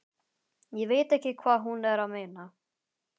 Ég veit ekki hvað hún er að meina.